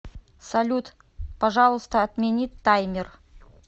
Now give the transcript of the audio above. салют пожалуйста отмени таймер